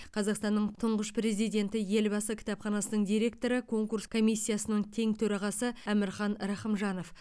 қазақстанның тұңғыш президенті елбасы кітапханасының директоры конкурс комиссиясының тең төрағасы әмірхан рахымжанов